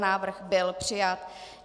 Návrh byl přijat.